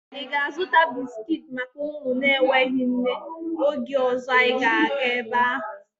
Ị ga-azụta bisiki maka ụmụ na-enweghị nne oge ọzọ anyị ga-aga ebe ahụ